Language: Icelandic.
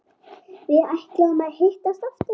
Við ætluðum að hittast aftur.